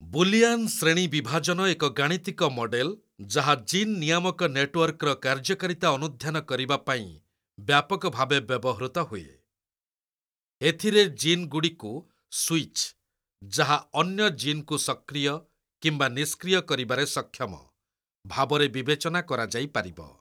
Boolean ଶ୍ରେଣୀ ବିଭାଜନ ଏକ ଗାଣିତିକ ମଡେଲ୍ ଯାହା ଜିନ୍ ନିୟାମକ ନେଟୱର୍କର କାର୍ଯ୍ୟକାରିତା ଅନୁଧ୍ୟାନ କରିବାପାଇଁ ବ୍ୟାପକ ଭାବେ ବ୍ୟବହୃତ ହୁଏ । ଏଥିରେ ଜିନ୍‍ଗୁଡ଼ିକୁ ସୁଇଚ୍, ଯାହା ଅନ୍ୟ ଜିନ୍ କୁ ସକ୍ରିୟ କିମ୍ବା ନିଷ୍କ୍ରିୟ କରିବାରେ ସକ୍ଷମ, ଭାବରେ ବିବେଚନା କରାଯାଇପାରିବ।